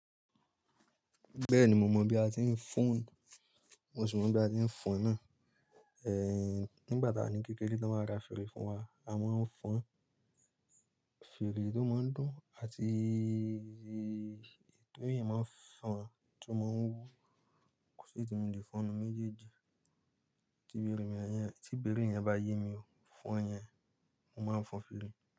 Bẹ́ẹ̀ni, mo mọ̀ bí a ti ń fọ́n, mo sì mọ bí a ti ń fọn náà. Ehn, nígbà tí a wá kékeré tí wọ́n máa ra fèrè fún wa, a máa ń fọn fèrè tó máa ń dùn àti tó èyán máa ń fọn tó máa ń wú. Kò sì eleyii tí mo lè fọ́nù méjèèjì, tí bẹ́rè yẹn bá yé mi fọn yẹn, mo máa fọn fèrè.